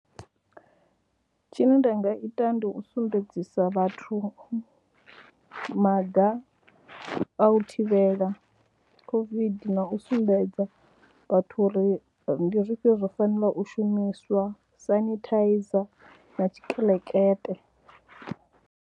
Tshine nda nga ita ndi u sumbedzisa vhathu maga a u thivhela COVID na u sumbedza vhathu uri ndi zwifhio zwo fanelaho u shumiswa, sanithaiza na tshikelekete.